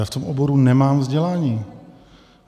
Já v tom oboru nemám vzdělání.